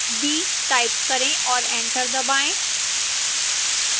d type करें और enter दबाएं